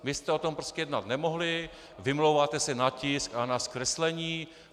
Vy jste o tom prostě jednat nemohli, vymlouváte se na tisk a na zkreslení.